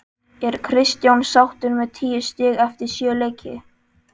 Er Kristján sáttur með tíu stig eftir sjö leiki?